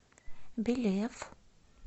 белев